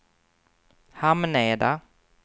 Hamneda